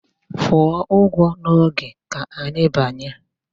Kwụọ ụgwọ n'oge, ka anyị banye!